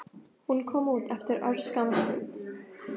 Hún kom út eftir örskamma stund.